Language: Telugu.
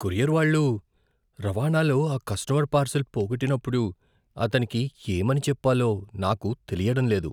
కొరియర్ వాళ్ళు రవాణాలో ఆ కస్టమర్ పార్శిల్ పోగొట్టినప్పుడు అతనికి ఏమని చెప్పాలో నాకు తెలియడం లేదు.